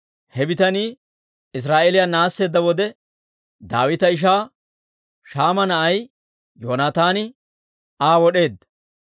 He bitanii Israa'eeliyaa naasseedda wode, Daawita ishaa Shaama na'ay Yoonataani Aa wod'eedda.